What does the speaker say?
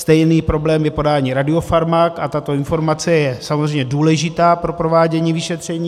Stejný problém je podání radiofarmak a tato informace je samozřejmě důležitá pro provádění vyšetření.